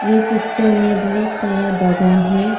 ये पिक्चर में बहुत सारा बागान है।